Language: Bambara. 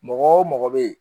Mɔgɔ o mɔgɔ bɛ ye